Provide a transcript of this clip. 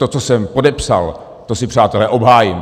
To, co jsem podepsal, to si, přátelé, obhájím.